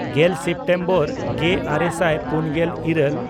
ᱜᱮᱞ ᱥᱮᱯᱴᱮᱢᱵᱚᱨ ᱜᱮᱼᱟᱨᱮ ᱥᱟᱭ ᱯᱩᱱᱜᱮᱞ ᱤᱨᱟᱹᱞ